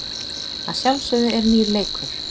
Að sjálfsögðu er nýr leikur.